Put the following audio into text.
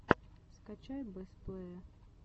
скачай бэст плэе